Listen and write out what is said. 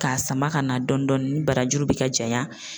K'a sama ka na dɔɔni dɔɔni ni barajuru bɛ ka janya